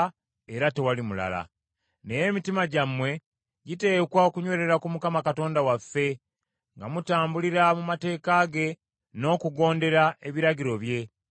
Naye emitima gyammwe giteekwa okunywerera ku Mukama Katonda waffe, nga mutambulira mu mateeka ge, n’okugondera ebiragiro bye, nga bwe mukola leero.”